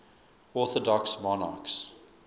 orthodox monarchs